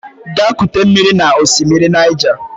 Gaa kute mmiri n'osimiri Niger!